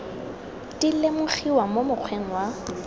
di lemogiwa mo mokgweng wa